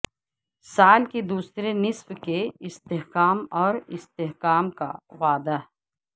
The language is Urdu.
سال کے دوسرے نصف کے استحکام اور استحکام کا وعدہ